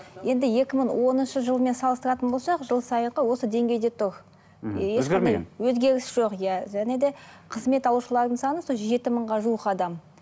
енді екі мың оныншы жылмен салыстыратын болсақ жыл сайынғы осы деңгейде тұр өзгеріс жоқ иә және де қызмет алушылардың саны сол жеті мыңға жуық адам